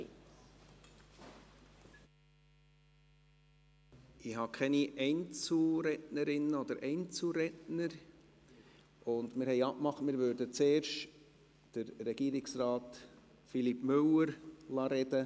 Ich habe keine Einzelrednerinnen oder Einzelredner, und wir haben abgemacht, dass zuerst Regierungsrat Philippe Müller sprechen darf.